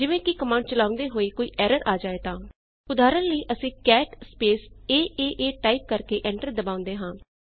ਜਿਵੇਂ ਕਿ ਕਮਾਂਡ ਚਲਾਉਂਦੇ ਹੋਏ ਕੋਈ ਐਰਰ ਆ ਜਾਵੇ ਤਾਂ ਉਦਾਹਰਣ ਲਈ ਅਸੀਂ ਕੈਟ ਸਪੇਸ ਏਏਏ ਟਾਈਪ ਕਰ ਕੇ ਐਂਟਰ ਦਬਾਂਦੇ ਹਾਂ